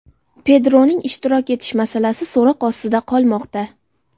Pedroning ishtirok etish masalasi so‘roq ostida qolmoqda.